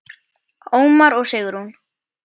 Ómar og Sigrún.